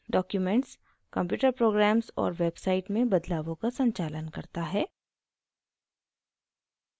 documents computer programs और web sites में बदलावों का संचालन करता है